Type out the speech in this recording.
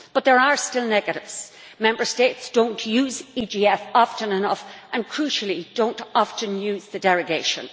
But there are still negatives Member States don't use the EGF often enough and, crucially, do not often use the derogation.